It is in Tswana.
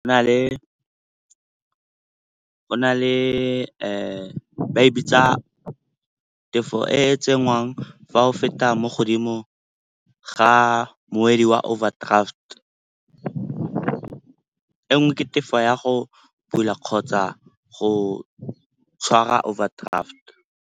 Go na le ba e bitsa tefo e e tsenngwang fa o feta mo godimo ga moedi wa overdraft. E nngwe ke tefo ya go bula kgotsa go tshwara overdraft.